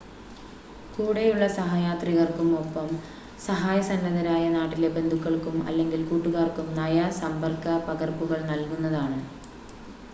കൂടെയുള്ള സഹയാത്രികർക്കും ഒപ്പം സഹായ സന്നദ്ധരായ നാട്ടിലെ ബന്ധുക്കൾക്കും അല്ലെങ്കിൽ കൂട്ടുകാർക്കും നയ/സമ്പർക്ക പകർപ്പുകൾ നൽകുന്നതാണ്